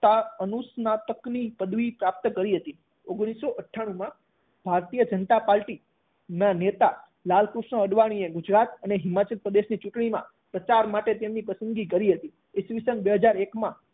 અનુસ્નાતકની પદવી પ્રાપ્ત કરી છે. ઓગણીસો અઠાણુંમાં ભારતીય જનતા પાર્ટી ના નેતા લાલકૃષ્ણ અડવાણીએ ગુજરાત અને હિમાચલ પ્રદેશની ચૂંટણીમાં પ્રચાર માટે તેમની પસંદગી કરી હતી. ઇશવિશન બે હાજર એકમાં